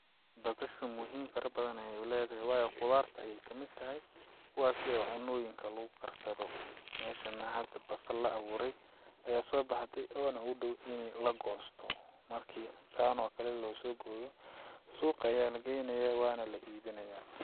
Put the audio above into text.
Basashu muhim fara badan ayay leedahay waayo qudaarta ayay kamid tahay kuwaasi oo cunooyinka lagu karsado meshan nah hada basal la abuuray ayaa sobaxde oo nah u dhow in lagosto marki saan oo kale losoo gooyo suuqa ayaa lageynayaa waa nah la ibinayaa.